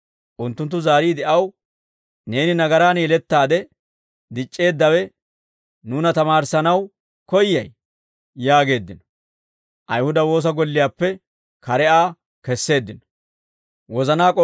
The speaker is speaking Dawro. Unttunttu zaariide aw, «Neeni nagaraan yelettaade dic'c'eeddawe nuuna tamaarissanaw koyyay?» yaageeddino; Ayihuda woosa golliyaappe kare Aa kesseeddino.